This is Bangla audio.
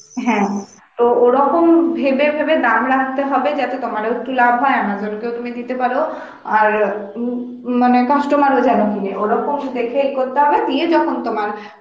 হ্যাঁ, তো ওরকম ভেবে ভেবে দাম রাখতে হবে যাতে তোমার ও কিছু লাভ হয় Amazon কেও তুমি দিতে পারো আর উম মানে customer ও ওরর্কম দেখে ইয়ে করতে হবে, দিয়ে যখন তোমার